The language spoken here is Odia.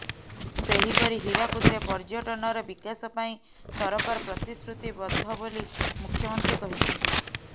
ସେହିପରି ହୀରାକୁଦରେ ପର୍ଯ୍ୟଟନର ବିକାଶ ପାଇଁ ସରକାର ପ୍ରତିଶ୍ରୁତିବଦ୍ଧ ବୋଲି ମୁଖ୍ୟମନ୍ତ୍ରୀ କହିଛନ୍ତି